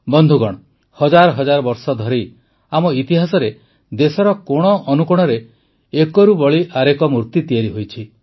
ବନ୍ଧୁଗଣ ହଜାର ହଜାର ବର୍ଷ ଧରି ଆମ ଇତିହାସରେ ଦେଶର କୋଣ ଅନୁକୋଣରେ ଏକରୁ ବଢ଼ି ଆରେକ ମୂର୍ତ୍ତି ତିଆରି ହୋଇଛି